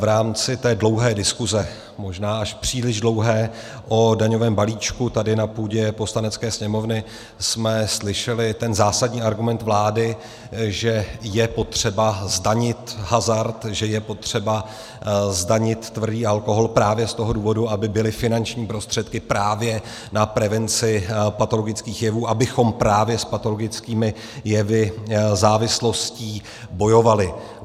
V rámci té dlouhé diskuse, možná až příliš dlouhé, o daňovém balíčku tady na půdě Poslanecké sněmovny jsme slyšeli ten zásadní argument vlády, že je potřeba zdanit hazard, že je potřeba zdanit tvrdý alkohol právě z toho důvodu, aby byly finanční prostředky právě na prevenci patologických jevů, abychom právě s patologickými jevy, závislostí, bojovali.